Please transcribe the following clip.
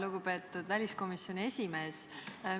Lugupeetud väliskomisjoni esimees!